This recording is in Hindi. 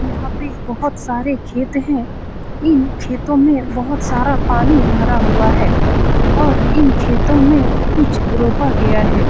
यहाँ पे बोहोत सारे खेत हैं । इन खेतों में बोहोत सारा पानी भरा हुआ है और इन खेतों में कुछ रोपा गया है ।